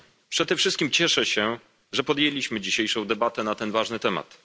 Przede wszystkim cieszę się, że podjęliśmy dzisiejszą debatę na ten ważny temat.